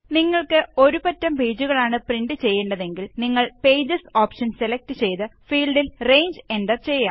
നിങ്ങള്ക്ക് ഒരു പറ്റം പേജുകളാണ് പ്രിന്റ് ചെയ്യേണ്ടതെങ്കിൽ നിങ്ങള് പേജസ് ഓപ്ഷന് സെലക്ട് ചെയ്ത് ഫീല്ഡില് റേഞ്ച് എന്റര് ചെയ്യാം